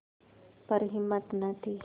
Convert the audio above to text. पर हिम्मत न थी